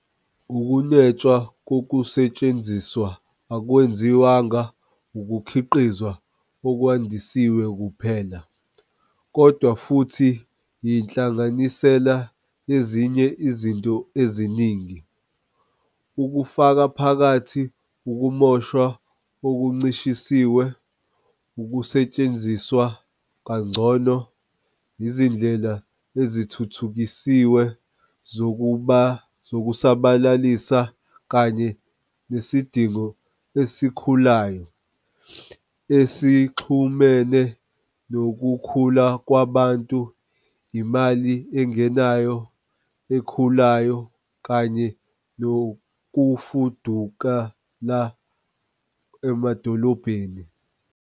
Ukunwetshwa kokusetshenziswa akwenziwanga ukukhiqizwa okwandisiwe kuphela, kodwa futhi yinhlanganisela yezinye izinto eziningi, kufaka phakathi ukumoshwa okuncishisiwe, ukusetshenziswa kangcono, izindlela ezithuthukisiwe zokusabalalisa kanye nesidingo esikhulayo, esixhumene nokukhula kwabantu, imali engenayo ekhulayo kanye nokufudukela emadolobheni.